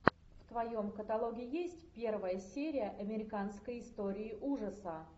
в твоем каталоге есть первая серия американской истории ужасов